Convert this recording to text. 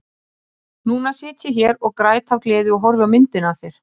Núna sit ég hér og græt af gleði og horfi á myndina af þér.